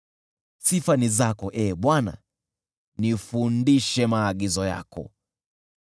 Sifa ni zako, Ee Bwana , nifundishe maagizo yako.